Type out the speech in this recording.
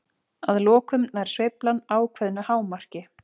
Að lokum nær sveiflan ákveðnu hámarki.